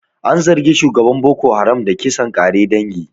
An zargi shugaban Boko Haram da kisan ƙare dangi.